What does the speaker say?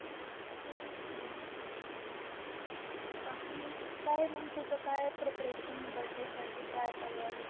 बाकी काय मग तुझ मग काय preparation आहे Birthday साठी काय तयारी?